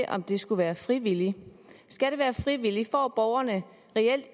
om det skulle være frivilligt skal det være frivilligt får borgerne